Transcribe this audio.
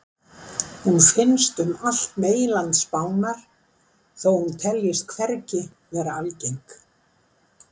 Hún finnst um allt meginland Spánar þó hún teljist hvergi vera algeng.